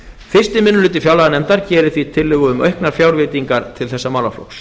fyrsti minni hluti fjárlaganefndar gerir því tillögu um auknar fjárveitingar til þessa málaflokks